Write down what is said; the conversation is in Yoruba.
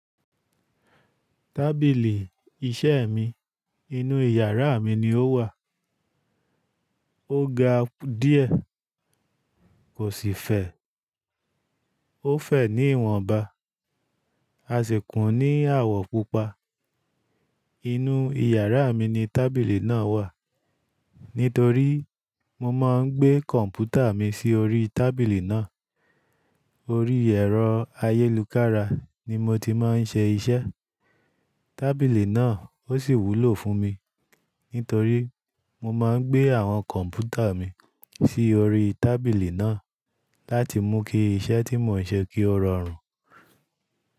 Tábìlì iṣẹ́ mi inú ìyàrá mi ni ó wà. Ó ga díẹ̀, kò sì fè. Ó fè ní ìwọnba. A sì kún ní àwọ̀ pupa. Inú ìyàrá mi ni tábìlì náà wà. Nítorí mo máa ń gbé kọ̀m̀pútà mi sí orí tábìlì náà. Orí ẹ̀rọ ayélujára ni mo ti máa ń ṣe iṣẹ́. Tábìlì náà ó sì wúlò fún mi. Nítorí mo máa ń gbé àwọn kọ̀m̀pútà mi sí orí tábìlì náà láti mú kí iṣẹ́ tí mò ń ṣe kí ó rọrùn.